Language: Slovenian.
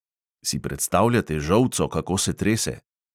Si predstavljate žolco, kako se trese?